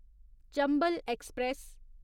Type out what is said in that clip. Chambal express